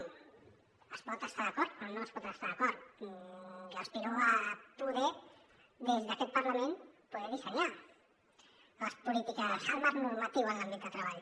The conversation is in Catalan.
es pot estar hi d’acord o es pot no estar hi d’acord jo aspiro a poder des d’aquest parlament dissenyar les polítiques el marc normatiu en l’àmbit de treball